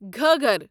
Ghaggar